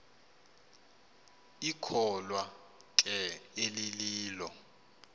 ikholwa ke elililo